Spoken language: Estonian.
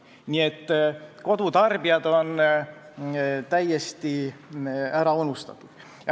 Nii et kodutarbijad on täiesti ära unustatud.